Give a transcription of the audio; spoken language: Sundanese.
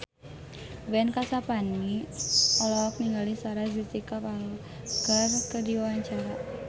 Ben Kasyafani olohok ningali Sarah Jessica Parker keur diwawancara